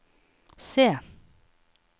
C